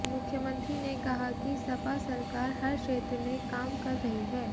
मुख्यमंत्री ने कहा कि सपा सरकार हर क्षेत्र में काम कर रही है